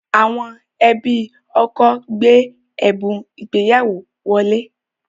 Àwọn ẹbí ọkọ gbé ẹ̀bùn ìgbéyàwó wọlé